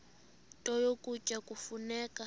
nto ukutya kufuneka